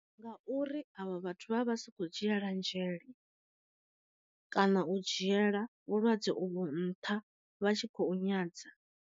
Nga uri avho vhathu vha vha vha si kho dzhiela nzhele, kana u dzhiela vhulwadze uvho nṱha vha tshi khou nyadza.